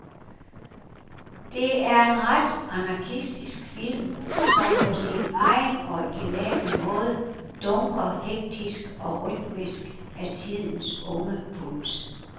Det er en ret anarkistisk film, som på sin egen originale måde dunker hektisk og rytmisk af tidens unge puls.